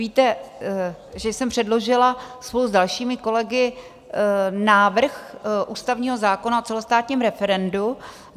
Víte, že jsem předložila spolu s dalšími kolegy návrh ústavního zákona o celostátním referendu.